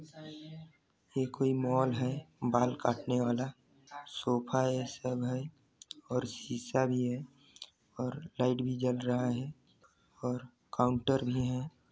यह कोई मॉल है बाल काट ने वाला सोफा है सब है और शीशा भी है और लाइट भी जल रहा है और काउंटर भी है।